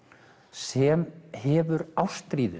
sem hefur ástríðu